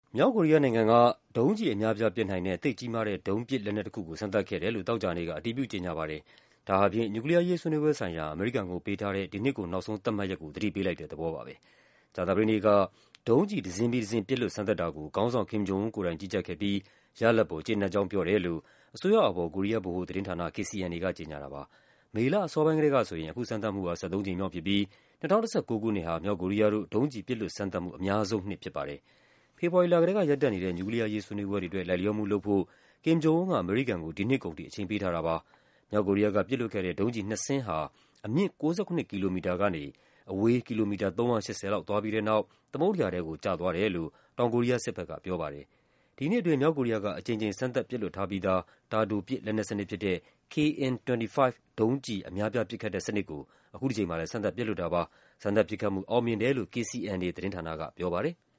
မြောက်ကိုရီးယားနိုင်ငံက ဒုံးကျည်အများအပြား ပစ်နိုင်တဲ့ သိပ်ကြီးမားတဲ့ ဒုံးပစ်လက်နက်တခုကို စမ်းသပ်ခဲ့တယ်လို့ သောကြာနေ့က အတည်ပြု ကြေညာပါတယ်။ ဒါဟာ နျူကလီးယားအရေး ဆွေးနွေးပွဲဆိုင်ရာ အမေရိကန်ကို ပေးထားတဲ့ ဒီနှစ်ကုန် နောက်ဆုံးသတ်မှတ်ရက်ကို သတိပေးလိုက်တဲ့ သဘောပါပဲ။ ကြာသပတေးနေ့ ဒုံးကျည် တစင်းပြီးတစင်း ပစ်လွှတ်စမ်းသပ်တာကို ခေါင်းဆောင် Kim Jong Un ကိုယ်တိုင် ကြီးကြပ်ခဲ့ပြီး ရလဒ်ပေါ် ကျေနပ်ကြောင်း ပြောတယ်လို့ အစိုးရအာဘော် ကိုရီးယား ဗဟိုသတင်းဌာန KCNA က ကြေညာတာပါ။ မေလ အစောပိုင်းကတည်းကဆိုရင် အခုစမ်းသပ်မှုဟာ ၁၃ ကြိမ်မြောက်ဖြစ်ပြီး ၂၀၁၉ ခုနှစ်ဟာ မြောက်ကိုရီးယားတို့ ဒုံးကျည် ပစ်လွှတ်စမ်းသပ်မှု အများဆုံးနှစ် ဖြစ်ပါတယ်။ ဖေဖော်ဝါရီလကတည်းက ရပ်တန့်နေတဲ့ နျူကလီးယားအရေး ဆွေးနွေးပွဲတွေအတွက် လိုက်လျောမှုလုပ်ဖို့ Kim Jong Un က အမေရိကန်ကို ဒီနှစ်ကုန်ထိ အချိန်ပေးထားတာပါ။ မြောက်ကိုရီးယားက ပစ်လွှတ်ခဲ့တဲ့ ဒုံးကျည်နှစ်စင်းဟာ အမြင့် ၉၇ ကီလိုမီတာကနေ ကီလိုမီတာ ၃၈၀ လောက် သွားပြီးတဲ့နောက် သမုဒ္ဒရာထဲကို ကျသွားတယ်လို့ တောင်ကိုရီးယားစစ်ဘက်က ပြောပါတယ်။ ဒီနှစ်အတွင်း မြောက်ကိုရီးယားက အကြိမ်ကြိမ် စမ်းသပ်ပစ်လွှတ်ထားပြီးသား တာတိုပစ် လက်နက်စနစ်ဖြစ်တဲ့ KN-25 ဒုံးကျည်အများအပြား ပစ်ခတ်တဲ့စနစ်ကို အခုတကြိမ်မှာလည်း စမ်းသပ်ပစ်လွှတ်တာပါ။ စမ်းသပ်ပစ်ခတ်မှု အောင်မြင်တယ်လို့ KCNA သတင်းဌာနက ပြောပါတယ်။